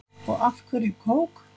Og af hverju kók?